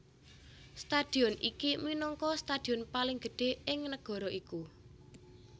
Stadion iki minangka stadion paling gedhé ing negara iku